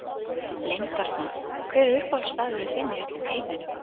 Leyndarmál Hver er uppáhaldsstaðurinn þinn í öllum heiminum?